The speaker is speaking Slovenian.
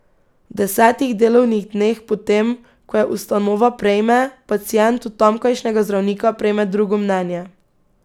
V desetih delovnih dneh po tem, ko jo ustanova prejme, pacient od tamkajšnjega zdravnika prejme drugo mnenje.